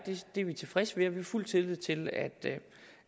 det er vi tilfredse med og vi har fuld tillid til at